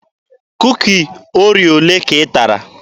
Kuki Oreo olee ka ị tara?